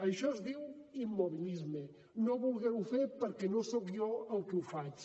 això es diu immobilisme no voler ho fer perquè no soc jo el qui ho faig